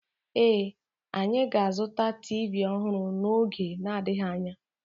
Ee, anyị ga-azụta TV ọhụrụ n'oge n'adịghị anya